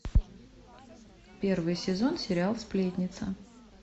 первый сезон сериал сплетница